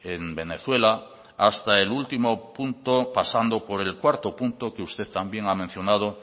en venezuela hasta el último punto pasando por el cuarto punto que usted también ha mencionado